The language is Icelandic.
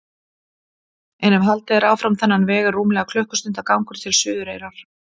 En ef haldið er áfram þennan veg er rúmlega klukkustundar gangur til Suðureyrar.